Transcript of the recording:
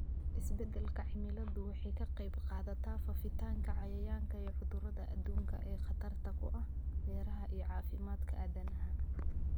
Isbeddelka cimiladu waxay ka qayb qaadataa faafitaanka cayayaanka iyo cudurrada adduunka ee khatarta ku ah beeraha iyo caafimaadka aadanaha.